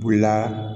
O la